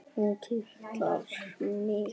Hún kitlar mig!